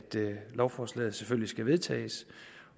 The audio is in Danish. lovforslaget selvfølgelig skal vedtages